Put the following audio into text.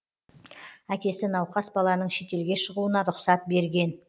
әкесі науқас баланың шетелге шығуына рұқсат берген